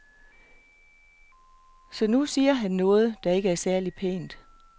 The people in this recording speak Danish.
Så nu siger han noget, der ikke er særligt pænt.